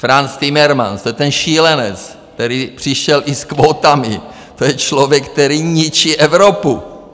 Frans Timmermans, to je ten šílenec, který přišel i s kvótami, to je člověk, který ničí Evropu.